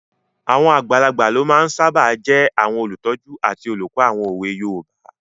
Àwọn àgbàlagbà ló máa n sáábà jẹ́ àwọn olùtọ́jú àti olùkọ́ àwọn òwe yoòbá